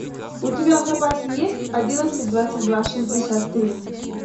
у тебя в запасе есть одиннадцать двадцать два шестьдесят три